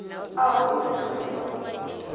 a ho isiso i ḓo